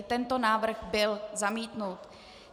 I tento návrh byl zamítnut.